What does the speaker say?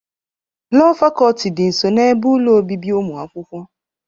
Lọọ Fakọlti dị nso n'ebe ụlọ obibi ụmụ akwụkwọ.